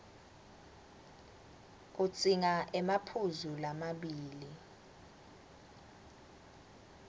udzinga emaphuzu lamabili